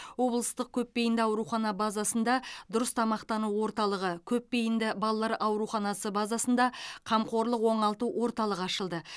облыстық көпбейінді аурухана базасында дұрыс тамақтану орталығы көпбейінді балалар ауруханасы базасында қамқорлық оңалту орталығы ашылды